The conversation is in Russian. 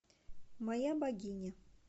моя богиня